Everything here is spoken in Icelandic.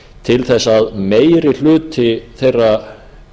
til þess að meiri hluti þeirra